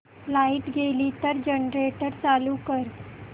light गेली तर generator चालू कर